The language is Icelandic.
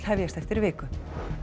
hefjast eftir viku